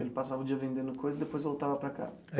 Ele passava o dia vendendo coisa e depois voltava para casa?